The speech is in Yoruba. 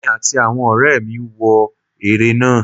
emí atí awọn ọrẹmi wọ ere náá